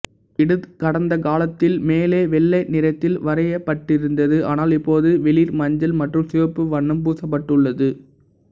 இது கடந்த காலத்தில் மேலே வெள்ளை நிறத்தில் வரையப்பட்டிருந்தது ஆனால் இப்போது வெளிர் மஞ்சள் மற்றும் சிவப்பு வண்ணம் பூசப்பட்டுள்ளது